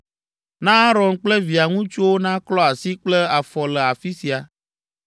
Na Aron kple via ŋutsuwo naklɔ asi kple afɔ le afi sia,